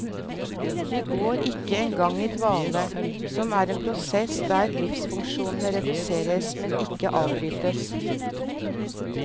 De går ikke engang i dvale, som er en prosess der livsfunksjonene reduseres, men ikke avbrytes.